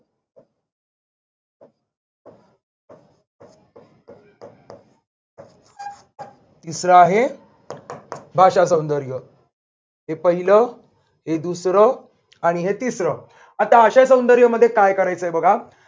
तिसर आहे भाषासौंदर्य. हे पहिलं, हे दुसर आणि हे तिसर. आता आशयसौंदर्यमध्ये काय करायचय बघा.